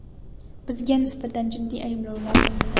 Bizga nisbatan jiddiy ayblovlar qo‘yildi.